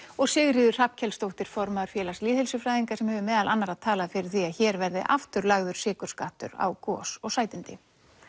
og Sigríður Hrafnkelsdóttir formaður félags lýðheilsufræðinga sem hefur meðal annarra talað fyrir því að hér verði aftur lagður sykurskattur á gos og sætindi